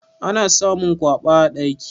Ana samun kwaba a daki.